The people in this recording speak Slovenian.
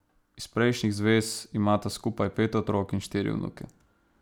Iz prejšnjih zvez imata skupaj pet otrok in štiri vnuke.